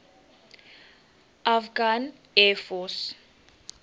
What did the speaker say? afghan air force